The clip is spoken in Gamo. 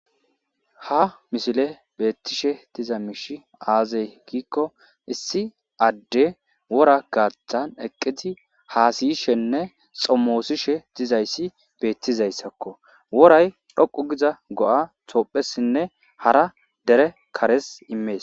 ha mishile beettishe diza miishi aazey giikko issi adde wora gaaththan eqqizi haasiyishenne xommoosishe dizayssi beettizayssakko woray dhoqu giza go7a toophessinne hara dere kares immees